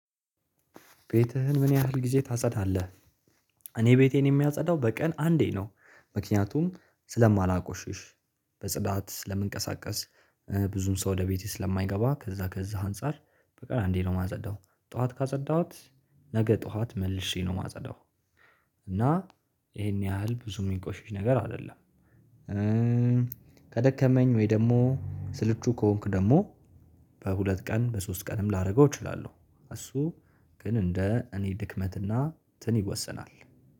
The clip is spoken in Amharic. ቤትህን ምን ያህል ጊዜ ታጸዳለህ? እኔ ቤቴን የማጸዳው በቀን አንዴ ነው ምክንያቱም ስለማላቆሽሽ በጽዳት ስለምንቀሳቀስ ብዙም ሰው ወደ ቤቴ ስለማይገባ ከዛ ከዛ አንፃር በቀን አንዴ ነው የማጸዳው ጠዋት ካፀዳሁት ነገ ጠዋት መልሼ ነው የማጸዳው እና ይሄን ያህል ብዙ የሚቆሽሽ ነገር አይደለም። ከደከመኝ ወይ ደግሞ ስልቹ ከሆንኩ ደግሞ በሁለት ቀን በሶስት ቀንም ላደርገው እችላለሁ። እሱ ግን እንደ እኔ ድክመትና ትን ይወሰናል